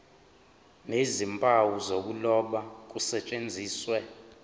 nezimpawu zokuloba kusetshenziswe